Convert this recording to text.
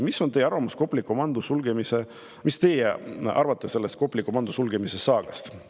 Mis on teie arvamus Kopli komando sulgemise kohta, mis teie arvate sellest Kopli komando sulgemise saagast?